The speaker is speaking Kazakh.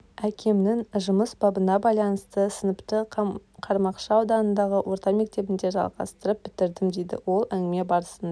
әкемнің жұмыс бабына байланысты сыныпты қармақшы ауданындағы орта мектебінде жалғастырып бітірдім дейді ол әңгіме барысында